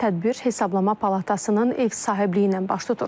Tədbir Hesablama Palatasının ev sahibliyi ilə baş tutur.